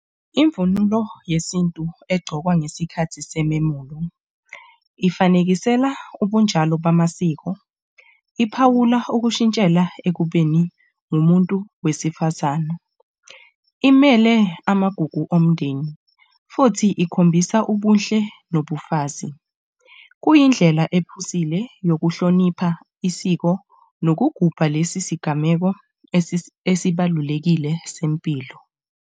Imvunulo yesintu egqokwa ngesikhathi sememulo, ifanekisela ubunjalo bamasiko, iphawula ukushintshela ekubeni ngumuntu wesifazane, imele amagugu omndeni futhi ikhombisa ubuhle nobufazi. Kuyindlela ephusile yokuhlonipha isiko nokugubha lesi sigameko esibalulekile sempilo.